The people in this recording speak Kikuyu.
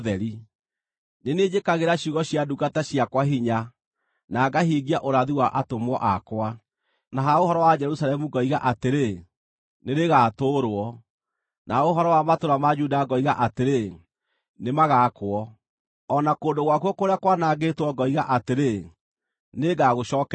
Nĩ niĩ njĩkagĩra ciugo cia ndungata ciakwa hinya, na ngahingia ũrathi wa atũmwo akwa, na ha ũhoro wa Jerusalemu ngoiga atĩrĩ, ‘Nĩrĩgatũũrwo,’ na ha ũhoro wa matũũra ma Juda ngoiga atĩrĩ, ‘Nĩmagaakwo,’ o na kũndũ gwakuo kũrĩa kwanangĩtwo ngoiga atĩrĩ, ‘Nĩngagũcookereria.’